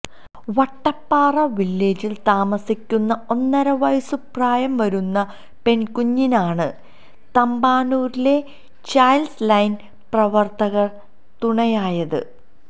വട്ടപ്പാറ വില്ലേജില് താമസിക്കുന്ന ഒന്നരവയസ്സുപ്രായം വരുന്ന പെണ്കുഞ്ഞിനാണ് തമ്പാനൂരിലെ ചൈല്ഡ് ലൈന് പ്രവര്ത്തകര് തുണയായത്